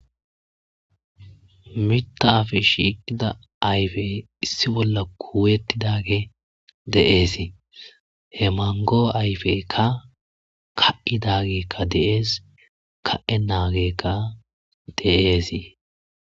mitaf shiiqida ayfe issi bolla kuwettidage deeesi he mango ayfekka ka7idagekka deees ka7e naagekka deeesii